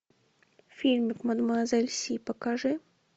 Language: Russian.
фильм мадемуазель си покажи